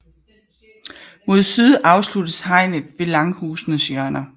Mod syd afsluttes hegnet ved langhusenes hjørner